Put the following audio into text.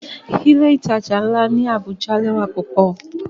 Ile-itaja nla ni Abuja lẹwa pupọ.